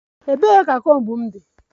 Ebee ka comb m dị?